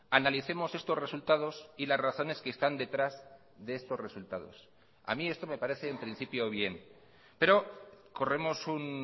analicemos estos resultados y las razones que están detrás de estos resultados a mí esto me parece en principio bien pero corremos un